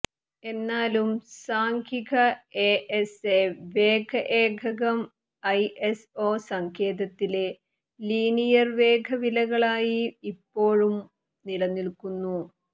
എന്നാലും സാംഖിക എഎസ്എ വേഗ ഏകകം ഐഎസ്ഒ സങ്കേതത്തിലെ ലീനിയർ വേഗ വിലകളായി ഇപ്പോളും നിലനിൽക്കുന്നു